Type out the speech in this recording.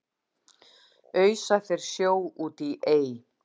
ausa þeir sjó út í ey